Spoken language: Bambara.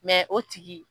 o tigi